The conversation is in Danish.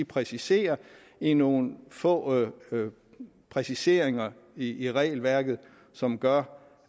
præciserer i nogle få præciseringer i regelværket som gør